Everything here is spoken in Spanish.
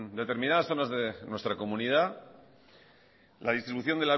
determinadas zonas de nuestra comunidad la distribución